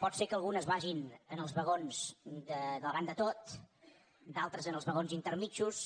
pot ser que algunes vagin en els vagons de davant de tot d’altres en els vagons intermedis